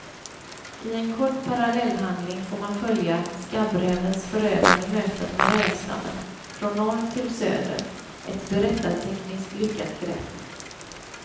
I en kort parallellhandling får man följa skabbrävens förödande möten med rävstammen från norr till söder, ett berättartekniskt lyckat grepp.